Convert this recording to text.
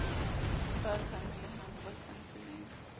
ba tshwanelehang ho ba khanseleng